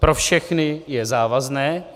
Pro všechny je závazné.